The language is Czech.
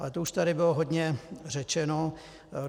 Ale to už tady bylo hodně řečeno.